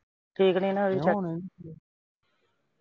ਠੀਕ ਨਈਂ ਨਾ ਅਜੇ ਤੱਕ